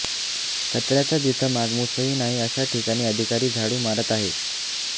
कचऱ्याचा जिथं मागमूसही नाही अशा ठिकाणी अधिकारी झाडू मारत आहेत